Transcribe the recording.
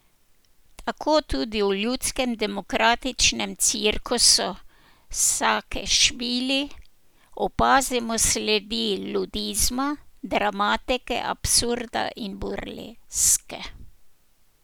Tako tudi v Ljudskem demokratičnem cirkusu Sakešvili opazimo sledi ludizma, dramatike absurda in burleske.